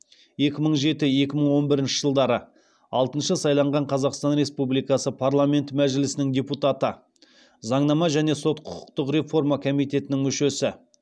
екі мың жеті екі мың он бірінші жылдары алтыншы сайланған қазақстан республикасы парламенті мәжілісінің депутаты заңнама және сот құқықтық реформа комитетінің мүшесі